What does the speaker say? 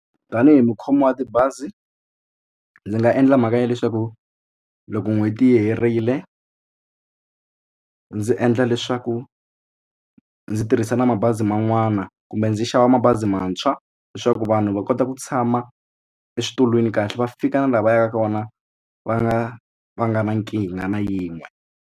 Tanihi mukhomi wa tibazi ndzi nga endla mhaka ya leswaku loko n'hweti yi herile ndzi endla leswaku ndzi tirhisa na mabazi man'wana kumbe ndzi xava mabazi mantshwa leswaku vanhu va kota ku tshama eswitulwini kahle va fika na laha va yaka kona va nga va nga na nkingha na yin'we.